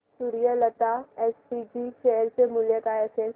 Suryalata SPG share चे मूल्य काय असेल